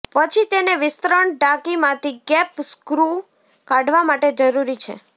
પછી તેને વિસ્તરણ ટાંકી માંથી કેપ સ્ક્રૂ કાઢવા માટે જરૂરી છે